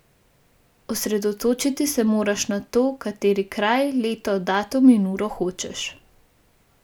Osredotočiti se moraš na to, kateri kraj, leto, datum in uro hočeš.